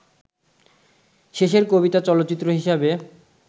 শেষের কবিতা চলচ্চিত্র হিসেবে